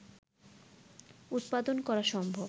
উৎপাদন করা সম্ভব